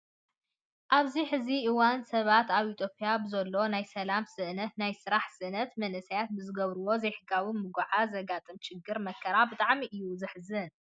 ኣብዚ ሕዚ እዋን ሰባት ኣብ ኢትዮጵያ ብዝሎ ናይ ሰላም ስእነትን ናይ ስራሕ ስእነትን መናእሰይ ብዝገብርዎ ዘይሕጋዊ ምጉዕዓዝ ዘጋጥሞም ችግርን መከራን ብጣዕሚ እዩ ዘሕዝን።